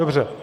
Dobře.